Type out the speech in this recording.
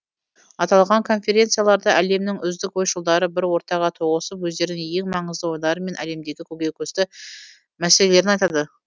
аталған конференцияларда әлемнің үздік ойшылдары бір ортаға тоғысып өздерінің ең маңызды ойлары мен әлемдегі көкейкесті мәселелерін айтады